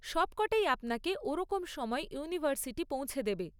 সবকটাই আপনাকে ওরকম সময়ে ইউনিভার্সিটি পৌঁছে দেবে।